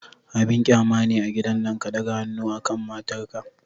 Abin qyama ne a gidan nan ka ɗaga hannu akan matar ka.